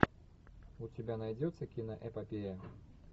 у тебя найдется киноэпопея